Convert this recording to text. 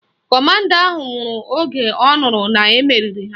Kọmanda ahụ nwụrụ oge ọ nụrụ na-emeriri ha